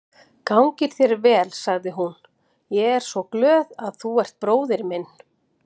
Gangi þér vel, sagði hún, ég er svo glöð að þú ert bróðir minn.